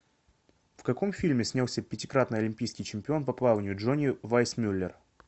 в каком фильме снялся пятикратный олимпийский чемпион по плаванию джонни вайсмюллер